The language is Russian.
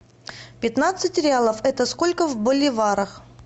пятнадцать реалов это сколько в боливарах